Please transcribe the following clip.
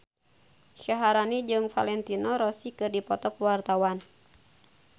Syaharani jeung Valentino Rossi keur dipoto ku wartawan